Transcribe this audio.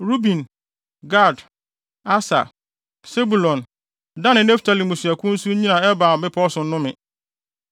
Ruben, Gad, Aser, Sebulon, Dan ne Naftali mmusuakuw nso nnyina Ebal bepɔw so nnome.